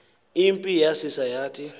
impi yasisa yathi